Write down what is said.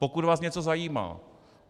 Pokud vás něco zajímá.